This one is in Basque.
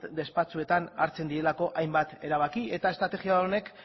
despatxoetan hartzen direlako hainbat erabaki eta estrategia honek